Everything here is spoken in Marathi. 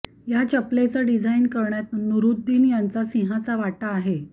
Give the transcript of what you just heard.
या चपलेचं डिझाईन करण्यात नुरुद्दीन यांचा सिंहाचा वाटा आहे